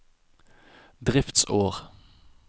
driftsår